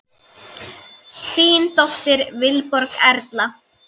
Þín dóttir, Vilborg Erla.